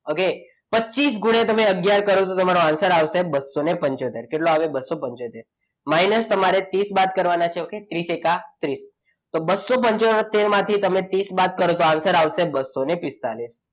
okay પચીસ ગુણ્યા તમે અગિયાર કરો તો તમારો answer આવશે બસો પંચોતેર કેટલો આવે બસો પંચોતેર minus તમારે ત્રીસ બાદ કરવાના છે okay ત્રીસ એકા ત્રીસ તો બસો પંચોતેર માંથી તમે ત્રીસ બાદ કરો તો answer આવશે બસો પિસ્તાળીસ.